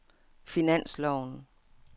finansloven